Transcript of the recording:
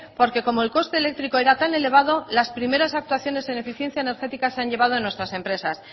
porque como el coste eléctrico era tan elevado las primeras actuaciones en eficiencia energética se han llevado a nuestras empresas